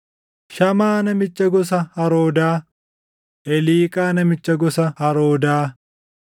Shamaa namicha gosa Haroodaa, Eliiqaa namicha gosa Haroodaa,